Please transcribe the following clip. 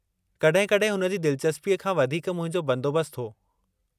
कॾहिं-कॾहिं हुन जी दिलचस्पीअ खां वधीक मुहिंजो बंदोबस्तु हो।